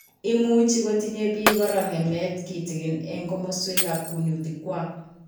Imuchi kotinye biik kora ng'emet kitikin eng' komaswekab kunyutik kwak